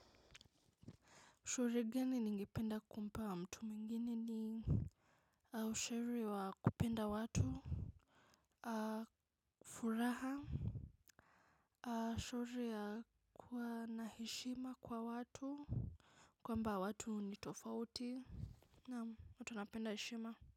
Ushauri gani ningependa kumpa mtu mwingine ni ushauri wa kupenda watu furaha ushauri ya kuwa na heshima kwa watu. Kwamba watu ni tofauti. Naam watu wanapenda heshima.